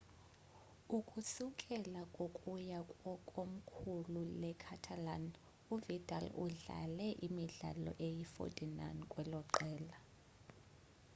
ukusukela kwokuya kwkomkhulu-le-catalan u-vidal idlale imidlalo eyi-49 kweloqela